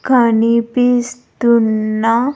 కనిపిస్తున్న.